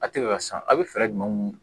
A tɛ ka san a bɛ fɛɛrɛ jumɛnw